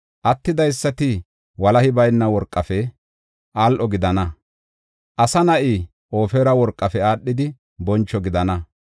Attidaysati walahi bayna worqafe al7o gidana; asa na7i Ofira worqafe aadhidi boncho gidana.